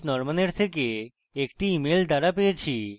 আমি এই image norman থেকে একটি email দ্বারা পেয়েছি